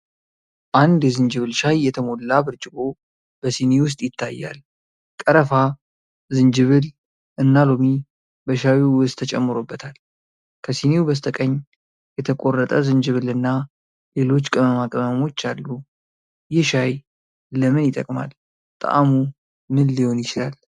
አንድ የዝንጅብል ሻይ የተሞላ ብርጭቆ በስኒ ውስጥ ይታያል፤ ቀረፋ፣ ዝንጅብል እና ሎሚ በሻይው ውስጥ ተጨምሮበታል። ከስኒው በስተቀኝ፣ የተቆረጠ ዝንጅብልና ሌሎች ቅመማ ቅመሞች አሉ። ይህ ሻይ ለምን ይጠቅማል? ጣዕሙ ምን ሊሆን ይችላል?